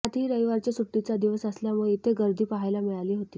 त्यातही रविराच्या सुट्टीचा दिवस असल्यामुळे इथे गर्दी पाहायला मिळाली होती